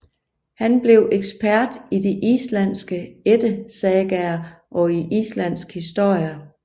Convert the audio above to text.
Han blev ekspert i de islandske ættesagaer og i islandsk historie